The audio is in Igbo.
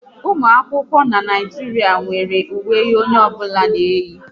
Ụmụ akwụkwọ n'Naijiria nwéré uwe onye ọbụla na-eyi